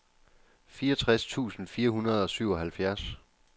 fireogtres tusind fire hundrede og syvoghalvfjerds